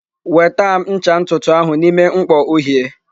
Weta m ncha ntutu ahụ n'ime mkpọ uhie!